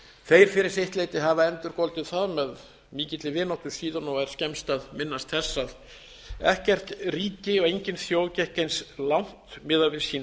þeir fyrri sitt leyti hafa endurgoldið það með mikilli vináttu síðan og er skemmst að minnast þess að ekkert ríki og engin þjóð gekk eins langt miðað við sín